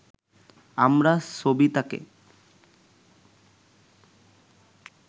আমরা সবিতাকে